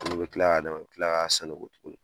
An mi kila ka d'a ma a bi kila ka sanango tuguni